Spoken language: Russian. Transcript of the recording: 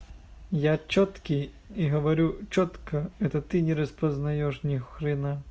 я чёткий и говорю чётко это ты не распознаешь не хрен